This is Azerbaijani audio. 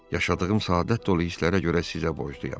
Yaşadığım səadət dolu hisslərə görə sizə borcluyam.